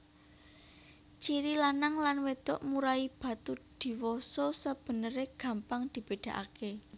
Ciri lanang lan wedok murai batu diwasa sebenere gampang dibedakake